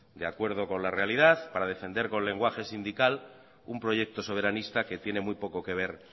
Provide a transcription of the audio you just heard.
de acuerdo con la realidad para defender con lenguaje sindical un proyecto soberanista que tiene muy poco que ver